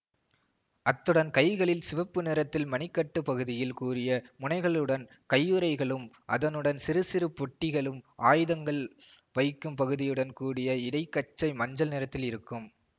அத்துடன் கைகளில் சிவப்பு நிறத்தில் மணிக்கட்டு பகுதியில் கூரிய முனைகளுடன் கையுறைகளும் அதனுடன் சிறுசிறு பொட்டிகளும் ஆயுதங்கள் வைக்கும் பகுதியுடன் கூடிய இடைகச்சை மஞ்சள் நிறத்தில் இருக்கும்